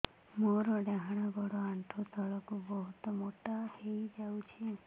ମୋର ଡାହାଣ ଗୋଡ଼ ଆଣ୍ଠୁ ତଳକୁ ବହୁତ ମୋଟା ହେଇଯାଉଛି